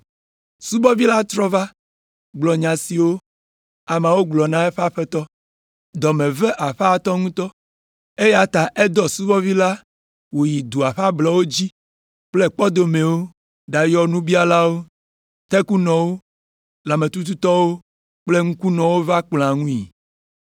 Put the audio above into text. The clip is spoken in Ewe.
“Subɔvi la trɔ va gblɔ nya siwo ameawo gblɔ la na eƒe aƒetɔ. Dɔ me ve aƒetɔa ŋutɔ, eya ta edɔ eƒe subɔvi la wòyi dua ƒe ablɔwo dzi kple kpɔdomewo ɖayɔ nubialawo, tekunɔwo, lãmetututɔwo kple ŋkunɔwo va kplɔ̃a ŋui.